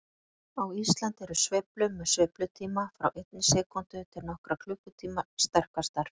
Á Íslandi eru sveiflur með sveiflutíma frá einni sekúndu til nokkurra klukkutíma sterkastar.